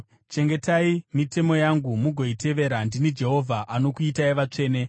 Chengetai mitemo yangu mugoitevera. Ndini Jehovha anokuitai vatsvene.